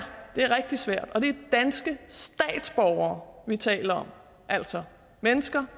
det er rigtig svært det er danske statsborgere vi taler om altså mennesker